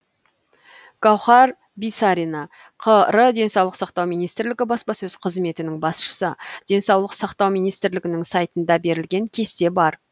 гауһар бисарина қр денсаулық сақтау министрлігі баспасөз қызметінің басшысы денсаулық сақтау министрлігінің сайтында берілген кесте бар